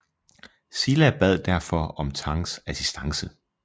Silla bad derfor om Tangs assistance